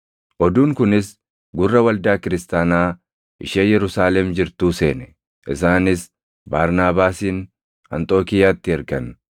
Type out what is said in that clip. Oduun kunis gurra waldaa kiristaanaa ishee Yerusaalem jirtuu seene; isaanis Barnaabaasin Anxookiiyaatti ergan.